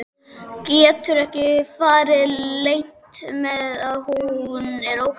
Getur ekki farið leynt með að hún er óhress.